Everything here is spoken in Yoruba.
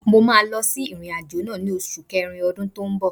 Mo máa lọ sí ìrìn-àjò náà ni osu kerin ọdún tó ń bọ̀.